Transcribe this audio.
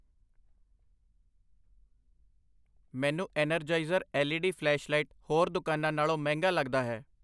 ਮੈਨੂੰ Energizer L E D flashlight ਹੋਰ ਦੁਕਾਨਾਂ ਨਾਲੋਂ ਮਹਿੰਗਾ ਲੱਗਦਾ ਹੈ